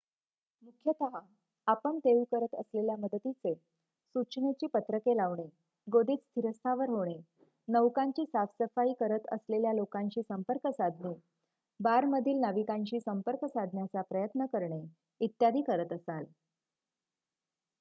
मुख्यतः आपण देऊ करत असलेल्या मदतीचे सूचनेची पत्रके लावणे गोदीत स्थिरस्थावर होणे नौकांची साफसफाई करत असलेल्यालोकांशी संपर्क साधणे बारमधील ना विकांशी संपर्क साधण्याचाप्रयत्न करणे इत्यादि करत असाल